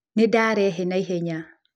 Nĩ ndarehe na ihenya